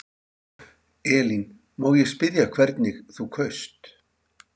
Elín: Má ég spyrja hvernig þú kaust?